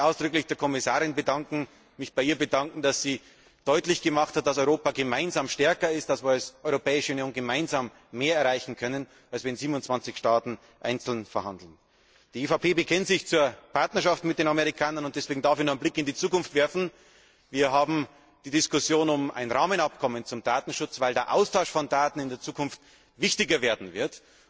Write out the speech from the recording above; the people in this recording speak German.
Ich möchte mich ausdrücklich bei der Kommissarin bedanken, dass sie deutlich gemacht hat, dass Europa gemeinsam stärker ist, dass wir als Europäische Union mehr erreichen können als 27 Staaten, die einzeln verhandeln. Die EVP bekennt sich zur Partnerschaft mit den Amerikanern und deshalb darf ich noch einen Blick in die Zukunft werfen. Wir haben die Diskussion um ein Rahmenabkommen zum Datenschutz, weil der Austausch von Daten in der Zukunft wichtiger werden wird.